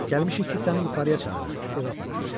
Gəlmişik ki, səni yuxarıya çağıraq, evə aparaq.